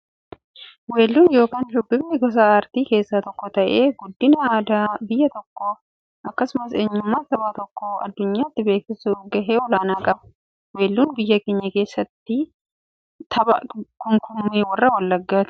Weelluun yookin shubbifni gosa aartii keessaa tokko ta'ee, guddina aadaa biyya tokkoof akkasumas eenyummaa saba tokkoo addunyyaatti beeksisuuf gahee olaanaa qaba. Weelluun biyya keenyaa keessaa tokko tapha kumkummee warra wallaggaati.